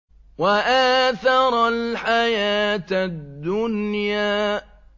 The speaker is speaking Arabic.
وَآثَرَ الْحَيَاةَ الدُّنْيَا